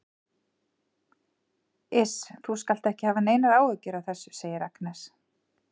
Iss, þú skalt ekki hafa neinar áhyggjur af þessu, segir Agnes.